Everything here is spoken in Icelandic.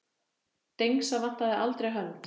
Dengsa vantaði aldrei hönd.